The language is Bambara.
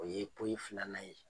O ye poyi filanan ye.